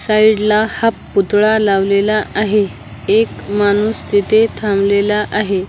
Side ला हा पुतळा लावलेला आहे एक माणूस तिथे थांबलेला आहे.